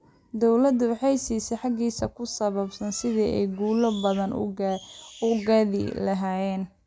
Dawladdu waxay siisaa hagis ku saabsan sidii ay guulo badan u gaadhi lahaayeen.